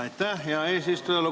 Aitäh, hea eesistuja!